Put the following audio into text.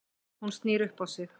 Hún snýr upp á sig.